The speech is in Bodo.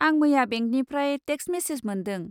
आं मैया बेंकनिफ्राय टेक्स मेसेज मोन्दों।